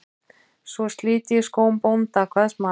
Svo slit ég skóm bónda, kvað smalinn.